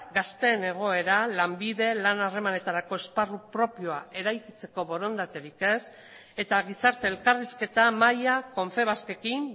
gazteen egoera lanbide lan harremanetarako esparru propioa eraikitzeko borondaterik ez eta gizarte elkarrizketa mahaia confebaskekin